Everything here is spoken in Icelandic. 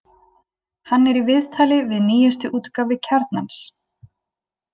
Hann er í viðtali í nýjustu útgáfu Kjarnans.